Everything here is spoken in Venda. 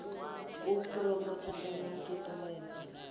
u phuromotha kana u ṱuṱuwedza